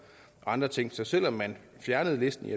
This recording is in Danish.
andre ting så selv om man fjernede listen